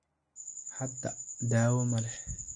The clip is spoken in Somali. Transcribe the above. Hadda, dawo ma leh.